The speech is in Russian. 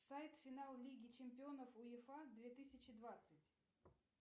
сайт финал лиги чемпионов уефа две тысячи двадцать